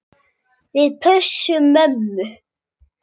Við pössum mömmu.